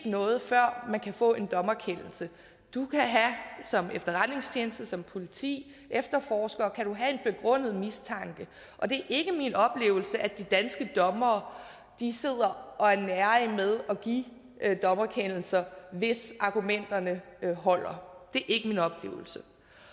noget før man kan få en dommerkendelse som efterretningstjeneste som politi efterforsker kan du have en begrundet mistanke og det er ikke min oplevelse at de danske dommere sidder og er nærige med at give dommerkendelser hvis argumenterne holder det er ikke min oplevelse